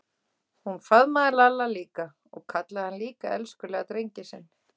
Hún faðmaði Lalla líka og kallaði hann líka elskulega drenginn sinn.